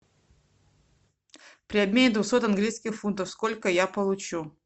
при обмене двухсот английских фунтов сколько я получу